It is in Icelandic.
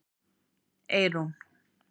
Eyrún